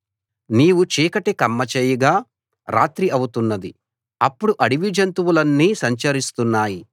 నీవు చీకటి కమ్మ జేయగా రాత్రి అవుతున్నది అప్పుడు అడవిజంతువులన్నీ సంచరిస్తున్నాయి